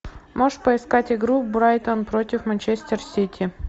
можешь поискать игру брайтон против манчестер сити